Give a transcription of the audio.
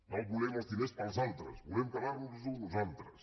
no volem els diners per als altres volem quedar nos els nosaltres